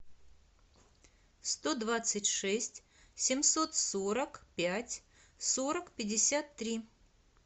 сто двадцать шесть семьсот сорок пять сорок пятьдесят три